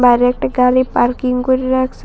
বাইরে একটি গাড়ি পার্কিং করে রাখসে।